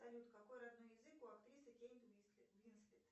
салют какой родной язык у актрисы кейт уинслетт